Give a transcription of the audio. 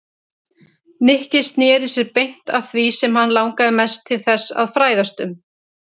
Nikki snéri sér beint að því sem hann langaði mest til þess að fræðast um.